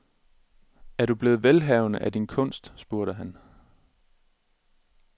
Er du blevet velhavende af din kunst, spurgte han.